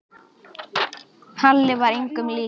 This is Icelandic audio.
Halli var engum líkur.